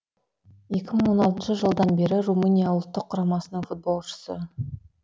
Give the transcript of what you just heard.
екі мың он алтыншы жылдан бері румыния ұлттық құрамасының футболшысы